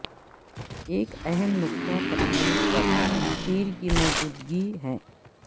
ایک اہم نقطہ پتلون پر تیر کی موجودگی ہے